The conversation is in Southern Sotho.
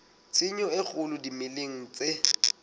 tshenyo e kgolo dimeleng tse